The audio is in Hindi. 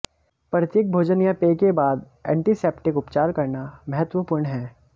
प्रत्येक भोजन या पेय के बाद एंटीसेप्टिक उपचार करना महत्वपूर्ण है